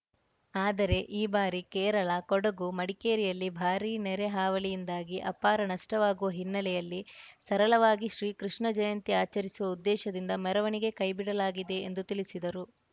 ಆದರೆ ಈ ಬಾರಿ ಕೇರಳ ಕೊಡಗು ಮಡಿಕೇರಿಯಲ್ಲಿ ಭಾರೀ ನೆರೆ ಹಾವಳಿಯಿಂದಾಗಿ ಅಪಾರ ನಷ್ಟವಾಗುವ ಹಿನ್ನಲೆಯಲ್ಲಿ ಸರಳವಾಗಿ ಶ್ರೀ ಕೃಷ್ಣ ಜಯಂತಿ ಆಚರಿಸುವ ಉದ್ದೇಶದಿಂದ ಮೆರವಣಿಗೆ ಕೈಬಿಡಲಾಗಿದೆ ಎಂದು ತಿಳಿಸಿದರು